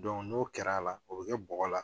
n'o kɛra a la o bɛ kɛ bɔgɔ la